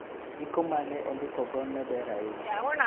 Ndiko ma ne ondikogo ne ber ahinya.